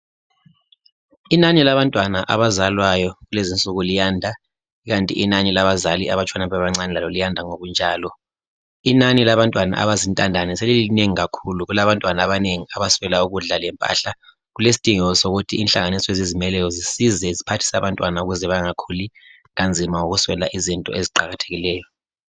Inani labantwana abazalwayo kulezi insuku liyanda ikanti inani labazali abatshona bebancane lalo liyanda ngokunjalo. Inani labantwana abazintandane selilinengi kakhulu. Kulabantwana abanengi abaswela ukudla lempahla. Kulesidingeko sokuthi inhlanganiso ezizimeleyo zisize ziphathise abantwana ukuze bangakhuli kanzima ngokuswela izinto eziqakathekileyo.